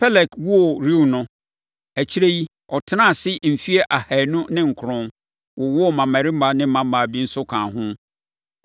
Peleg woo Reu no, akyire yi, ɔtenaa ase mfeɛ ahanu ne nkron, wowoo mmammarima ne mmammaa bi nso kaa ho.